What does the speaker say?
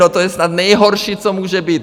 No to je snad nejhorší, co může být.